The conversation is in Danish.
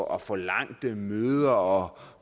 og forlangt møder og